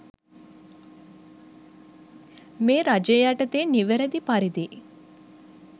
මේ රජය යටතේ නිවැරදි පරිදි